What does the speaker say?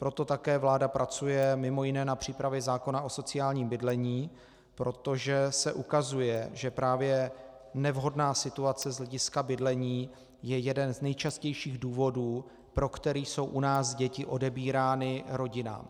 Proto také vláda pracuje mimo jiné na přípravě zákona o sociálním bydlení, protože se ukazuje, že právě nevhodná situace z hlediska bydlení je jeden z nejčastějších důvodů, pro který jsou u nás děti odebírány rodinám.